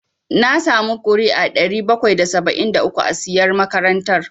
Na samu ƙuri'u ɗari bakwai da saba'in da uku a siyar makaranta